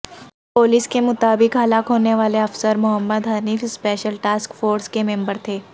police کے مطابق ہلاک ہونےوالے افسر Mohammad Hanif special task force کے ممبر تھے